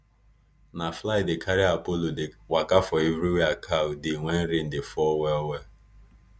na fly dey carry apollo dey waka for where cow dey when rain dey fall well well